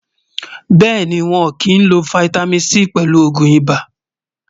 béèni, wón kí n ló fìtámín C pèlù ògún ibà